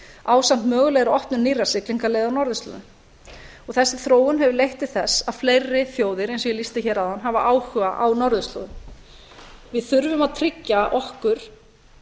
ásamt mögulegri opnun nýrra siglingaleiða á norðurslóðum þessi þróun hefur leitt til þess að fleiri þjóðir eins og ég lýsti hér áðan hafa áhuga á norðurslóðum við þurfum að tryggja okkur